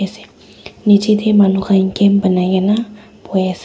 ase neche tey manu khan camp banai kena boi ase.